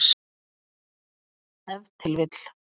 Ef til vill.